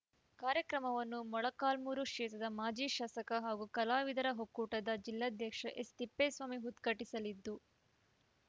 ಕಾರ್ಯಕ್ರಮವನ್ನು ಮೊಳಕಾಲ್ಮೂರು ಕ್ಷೇತ್ರದ ಮಾಜಿ ಶಾಸಕ ಹಾಗೂ ಕಲಾವಿದರ ಒಕ್ಕೂಟದ ಜಿಲ್ಲಾಧ್ಯಕ್ಷ ಎಸ್‌ತಿಪ್ಪೇಸ್ವಾಮಿ ಉದ್ಘಾಟಿಸಲಿದ್ದು